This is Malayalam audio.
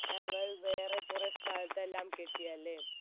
ഞങ്ങൾ വേറെ കുറെ സ്ഥലത്തെല്ലാം കെട്ടിയല്ലേ